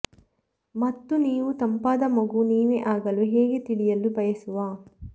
ಮತ್ತು ನೀವು ತಂಪಾದ ಮಗು ನೀವೇ ಆಗಲು ಹೇಗೆ ತಿಳಿಯಲು ಬಯಸುವ